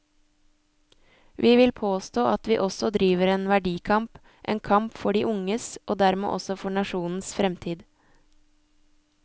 Vi vil påstå at vi også driver en verdikamp, en kamp for de unges, og dermed også for nasjonens fremtid.